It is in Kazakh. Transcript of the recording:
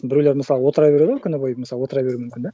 біреулер мысалы отыра береді ғой күні бойы мысалы отыра беруі мүмкін да